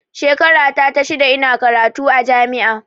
Shekara ta ta shida ina karatu a jami'a